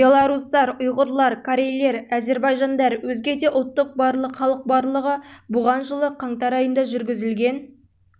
белорустар ұйғырлар корейлер әзірбайжандар өзге де ұлттар барлық халық барлығы бұған жылы қаңтар айында жүргізілген